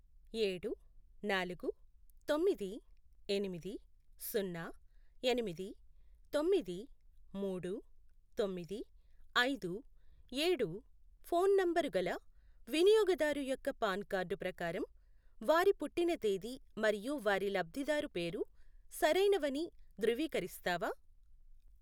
ఏడు, నాలుగు, తొమ్మిది, ఎనిమిది, సున్నా, ఎనిమిది, తొమ్మిది, మూడు, తొమ్మిది, ఐదు, ఏడు ఫోన్ నంబరు గల వినియోగదారు యొక్క పాన్ కార్డు ప్రకారం వారి పుట్టిన తేదీ మరియు వారి లబ్ధిదారు పేరు సరైనవని ధృవీకరిస్తావా?